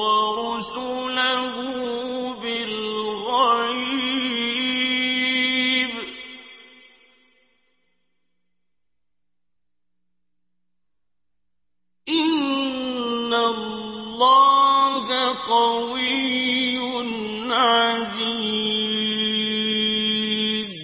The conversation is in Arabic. وَرُسُلَهُ بِالْغَيْبِ ۚ إِنَّ اللَّهَ قَوِيٌّ عَزِيزٌ